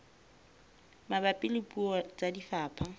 mabapi le puo tsa lefapha